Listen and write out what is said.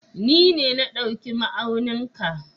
Ni ne na ɗauki ma'aunin ka.